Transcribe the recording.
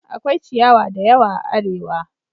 Akwai ciyawa da yawa a Arewa